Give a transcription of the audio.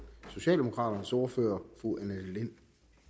socialdemokraternes ordfører fru annette lind